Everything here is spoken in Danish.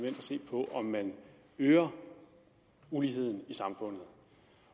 at se på om man øger uligheden i samfundet